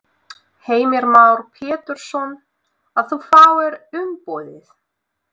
Heimir Már Pétursson: Að þú fáir umboðið?